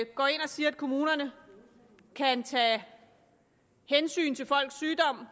går ind og siger at kommunerne kan tage hensyn til folks sygdom